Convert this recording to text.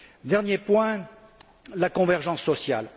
Dernier point la convergence sociale.